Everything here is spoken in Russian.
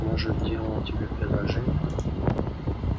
может делал тебе предложение